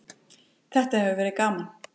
Þetta hefur verið gaman.